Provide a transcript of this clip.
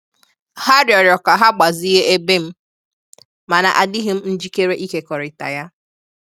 Ha rịọrọ ka ka ha gbazinye ebe m, mana adịghị m njikere ịkekọrịta ya.